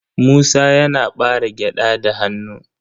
Musa yana ɓare gyaɗa da hannu.